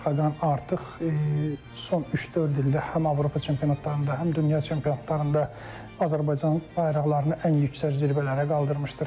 Xaqan artıq son üç-dörd ildə həm Avropa çempionatlarında, həm dünya çempionatlarında Azərbaycan bayraqlarını ən yüksək zirvələrə qaldırmışdır.